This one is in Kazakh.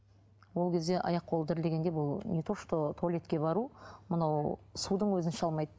ол кезде аяқ қолы дірілдегенде бұл не то что туалетке бару мынау судың өзін іше алмайды